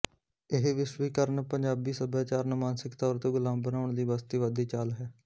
ਇਹ ਵਿਸ਼ਵੀਕਰਨ ਪੰਜਾਬੀ ਸਭਿਆਚਾਰ ਨੂੰ ਮਾਨਸਿਕ ਤੌਰ ਤੇ ਗੁਲਾਮ ਬਣਾਉਣ ਦੀ ਬਸਤੀਵਾਦੀ ਚਾਲ ਹੈ